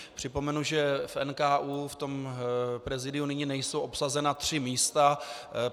Připomenu, že v NKÚ, v tom prezídiu, nyní nejsou obsazena tři místa.